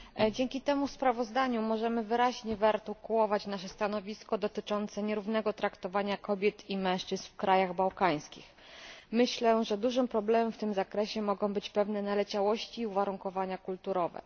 Dzięki temu sprawozdaniu możemy wyraźnie wyrazić nasze stanowisko dotyczące nierównego traktowania kobiet i mężczyzn w krajach bałkańskich. Myślę, że dużym problemem w tym zakresie mogą być pewne naleciałości i uwarunkowania kulturowe.